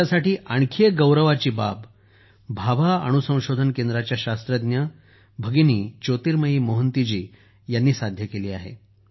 देशासाठी आणखी एक गौरवाची बाब भाभा अणुसंशोधन केंद्राच्या शास्त्रज्ञ भगिनी ज्योतिर्मयी मोहंती जी यांनीही साध्य केली आहे